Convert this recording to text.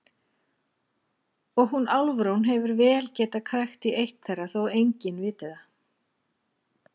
Og hún Álfrún hefur vel getað krækt í eitt þeirra þótt enginn viti það.